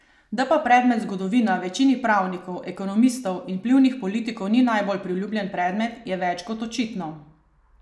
Da pa predmet zgodovina večini pravnikov, ekonomistov in vplivnih politikov ni bil najbolj priljubljen predmet, je več kot očitno.